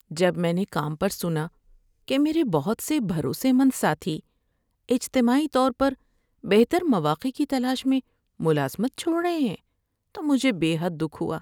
جب میں نے کام پر سنا کہ میرے بہت سے بھروسے مند ساتھی اجتماعی طور پر بہتر مواقع کی تلاش میں ملازمت چھوڑ رہے ہیں تو مجھے بے حد دکھ ہوا۔